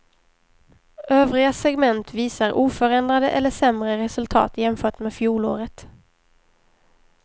Övriga segment visar oförändrade eller sämre resultat jämfört med fjolåret.